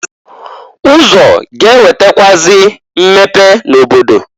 Ụzọ ga-ewetakwụazị mmepe n'obodo.